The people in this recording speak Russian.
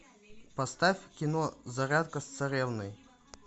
поставь кино зарядка с царевной